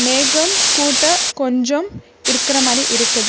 மேகம் கூட்ட கொஞ்சம் இருக்கிற மாரி இருக்குது.